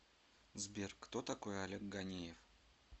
сбер кто такой олег ганеев